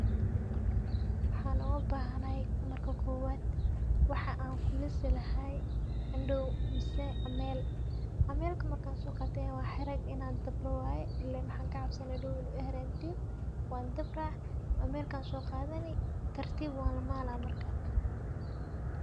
Wxan ubahanahay marka kowad wxa an kulisi lahay andow mise amel, amelka markansoqate wa xireg inan dabro wayr ilen wxan kacabsane inu ii xarantiyo wandabra amelk an so qadani tartib walamala marka.